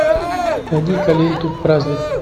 найди ка ленту праздник